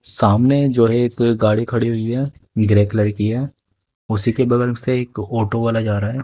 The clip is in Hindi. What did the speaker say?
सामने जो है एक गाड़ी खड़ी हुई है ग्रे कलर की है उसी के बगल से एक ऑटो वाला जा रहा है।